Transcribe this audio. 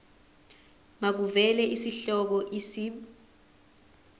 makuvele isihloko isib